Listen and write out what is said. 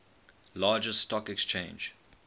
largest stock exchange